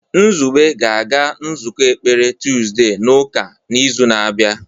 Nzube ga-aga nzukọ ekpere tuzdee n'ụka n'izu na-abịa.